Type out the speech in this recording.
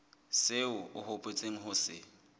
seo o hopotseng ho se